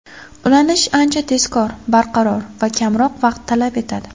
Ulanish ancha tezkor, barqaror va kamroq vaqt talab etadi.